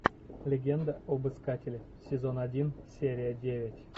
легенда об искателе сезон один серия девять